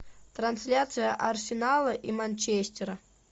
трансляция арсенала и манчестера